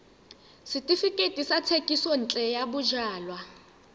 setefikeiti sa thekisontle ya bojalwa